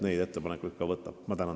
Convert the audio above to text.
Ma tänan teid!